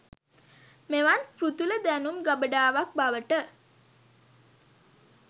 මෙවන් පෘථුල දැනුම් ගබඩාවක් බවට